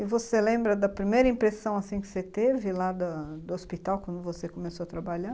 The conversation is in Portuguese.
E você lembra da primeira impressão, assim, que você teve lá do hospital, quando você começou a trabalhar?